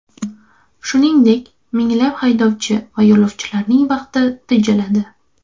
Shuningdek, minglab haydovchi va yo‘lovchilarining vaqti tejaladi.